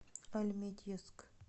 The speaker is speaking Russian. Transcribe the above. альметьевск